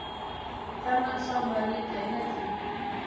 Þennan sá maður liggja í netinu.